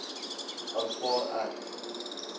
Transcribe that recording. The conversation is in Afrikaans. aanvaar ek